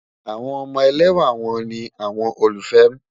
Awọn ọmọ èlẹ́wà wọn ni awọn òlúfẹ́ m